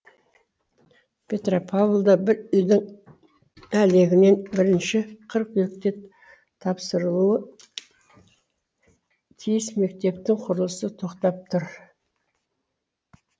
петропавлда бір үйдің әлегінен бірінші қыркүйекте тапсырылуы тиіс мектептің құрылысы тоқтап тұр